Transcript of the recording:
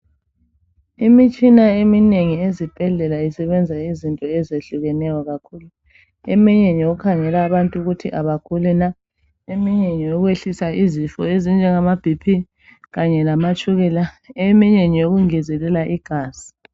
Imitshina eminengi ezibhedlela isebenza izinto ezitshiyeneyo kakhulu eminye ngeyokukhangela abantu ukuthi bagulani eminye ngeyokwehlisa izifo ezinje ngaboBP kanye lamatshukela eminye ngeyo kungezelela igazi